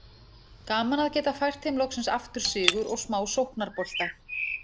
Gaman að geta fært þeim loksins aftur sigur og smá sóknarbolta!